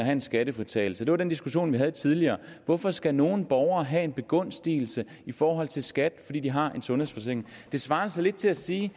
en skattefritagelse det var den diskussion vi havde tidligere er hvorfor skal nogle borgere have en begunstigelse i forhold til skat fordi de har en sundhedsforsikring det svarer altså lidt til at sige